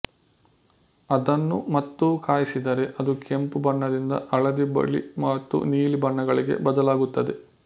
ಅದನ್ನು ಮತ್ತೂ ಕಾಯಿಸಿದರೆ ಅದು ಕೆಂಪು ಬಣ್ಣದಿಂದ ಹಳದಿ ಬಿಳಿ ಮತ್ತು ನೀಲಿ ಬಣ್ಣಗಳಿಗೆ ಬದಲಾಗುತ್ತದೆ